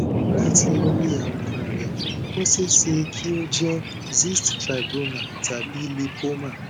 látì orí àwòrán rẹ ó ṣeé ṣe kí ó jẹ cyst fibroma tàbí lipoma